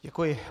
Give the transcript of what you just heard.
Děkuji.